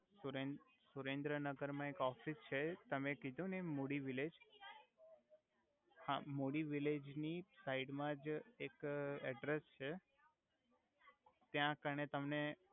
સુરેન સુરેંદ્રનગર મા એક ઓફિસ છે તમે કિધુ ને એમ મુડી વિલેજ હા મુડી વિલેજ ની સાઇડ મા જ એક એડરેસ છે ત્યા કણે તમને